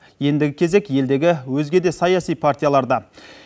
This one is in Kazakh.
ендігі кезек елдегі өзге де саяси партияларда